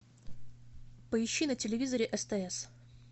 поищи на телевизоре стс